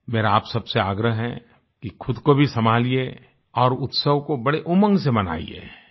मेरा आप सब से आग्रह है कि खुद को भी संभालिये और उत्सव को बड़े उमंग से मनाइये